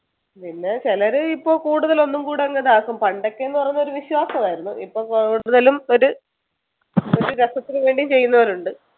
പിന്നെ ചിലർ ഇപ്പൊ കൂടുതൽ ഒന്നുംകൂടെ ഇതാകും പണ്ടൊക്കെ എന്ന് പറയുന്നത് വിശ്വാസമായിരുന്നു ഇപ്പൊ കൂടുതലും ഒരു രസത്തിന് വേണ്ടി ചെയ്യുന്നവരുമുണ്ട്